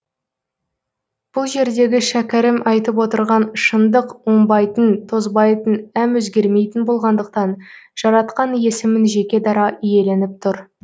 бұл жердегі шәкәрім айтып отырған шындық оңбайтын тозбайтын әм өзгермейтін болғандықтан жаратқан есімін жеке дара иеленіп тұр